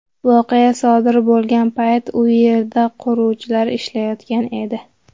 Voqea sodir bo‘lgan paytda u yerda quruvchilar ishlayotgan edi.